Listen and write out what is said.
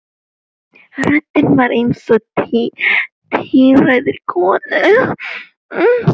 Röddin var eins og í tíræðri konu.